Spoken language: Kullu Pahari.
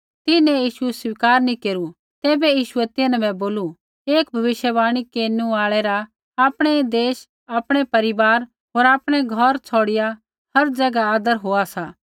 तिन्हैं यीशु स्वीकार नी केरू तैबै यीशुऐ तिन्हां बै बोलू एक भविष्यवाणी केरनु आल़ै रा आपणै देश आपणै परिवार होर आपणै घौरा छ़ौड़िआ हर ज़ैगा आदर होआ सा